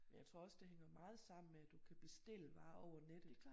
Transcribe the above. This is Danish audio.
Jeg tror også det hænger meget sammen med at du kan bestille varer over nettet